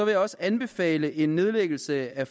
jeg også anbefale en nedlæggelse af